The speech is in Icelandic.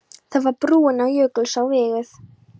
Þá var brúin á Jökulsá vígð.